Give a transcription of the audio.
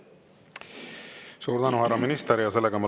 Suur tänu, härra minister!